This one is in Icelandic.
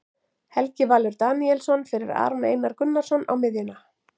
Helgi Valur Daníelsson fyrir Aron Einar Gunnarsson á miðjuna.